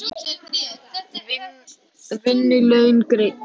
Vinnu laun greidd.